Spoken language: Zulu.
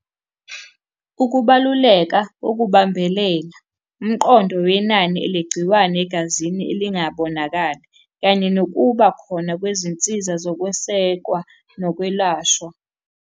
Ukubaluleka okubambelela, umqondo wenani elegciwane egazini elingabonakali, kanye nokuba khona kwezinsiza zokwesekwa nokwelashwa.